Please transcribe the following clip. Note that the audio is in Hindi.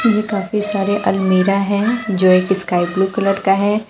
ये काफी सारे अलमीरा हैं जो एक स्काई ब्लू कलर का है।